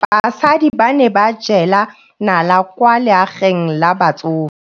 Basadi ba ne ba jela nala kwaa legaeng la batsofe.